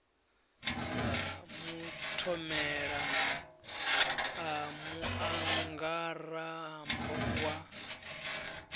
sa mathomela a muangarambo wa